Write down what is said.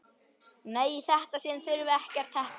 Nei, í þetta sinn þurfum við ekkert teppi.